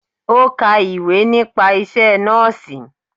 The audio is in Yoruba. Ó ka ìwé nípa isẹ́ Nọ́ọ̀sì.